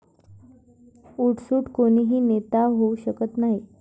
उठसूठ कोणीही नेता होऊ शकत नाही.